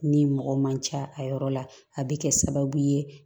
Ni mɔgɔ man ca a yɔrɔ la a bɛ kɛ sababu ye